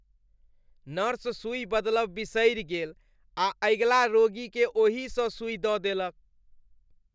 Nurse सुई बदलब बिसरी गेल आ अगिला रोगीकेँ ओही स सुई द देलक।